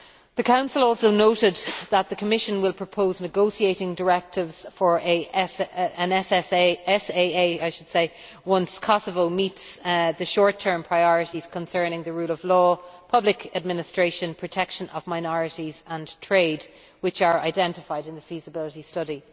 The Council also noted that the Commission will propose negotiating directives for an SAA once Kosovo meets the short term priorities concerning the rule of law, public administration, protection of minorities and trade, which are identified in the Feasibility Study.